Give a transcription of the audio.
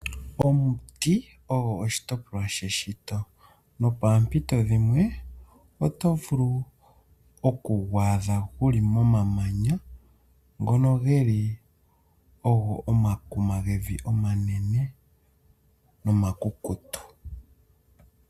Omuti ogo oshitopolwa sheshito, nopa mpito dhimwe otovulu okugu adha guli momanya ngono geli ogo omakuma gevi omanene omakukutu.